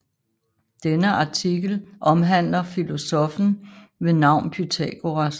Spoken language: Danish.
Denne artikel omhandler filosoffen ved navn Pythagoras